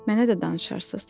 Mənə də danışarsız?